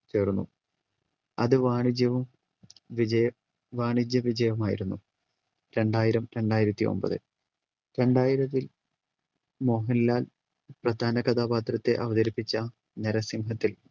ചേർന്നു അത് വാണിജ്യവും വിജയ വാണിജ്യവിജയമായിരുന്നു രണ്ടായിരം രണ്ടായിരത്തി ഒമ്പത്‌ രണ്ടായിരത്തിൽ മോഹൻലാൽ പ്രധാന കഥാപാത്രത്തെ അവതരിപ്പിച്ച നരസിംഹത്തിൽ